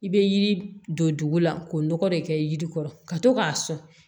I bɛ yiri don dugu la k'o nɔgɔ de kɛ yiri kɔrɔ ka to k'a sɔn